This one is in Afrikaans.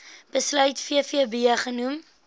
besluit vvb genoem